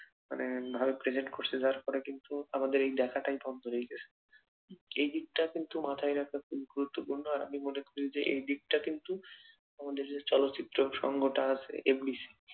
মানে ভারত ক্রিকেট খসে যাওয়ার পরে কিন্তু আমাদের এই ডাকাটাই বন্ধ রইল এই দিকটা কিন্তু মাথায় রাখা গুরুত্বপূর্ণ আর আমি মনে করি যে এই দিকটা কিন্তু আমাদের যে চলচ্চিত্র সংঘটা আছে এগুলি